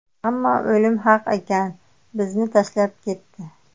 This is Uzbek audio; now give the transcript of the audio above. Ammo o‘lim haq ekan, bizni tashlab ketdi.